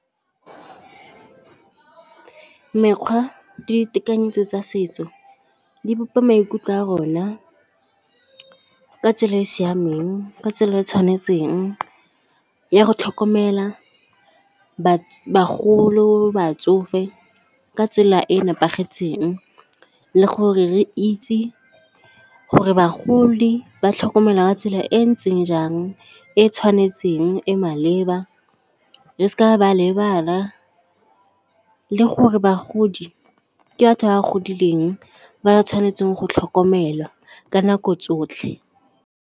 Mekgwa le ditekanyetso tsa setso di bopa maikutlo a rona ka tsela e e siameng, ka tsela e e tshwanetseng ya go tlhokomela bagolo, batsofe ka tsela e e nepagetseng le gore re itse gore bagodi ba tlhokomelwa ka tsela e ntseng jang, e tshwanetseng etseng e maleba re seka ba lebala le gore bagodi ke batho ba ba godileng ba ba tshwanetseng go tlhokomelwa ka nako tsotlhe.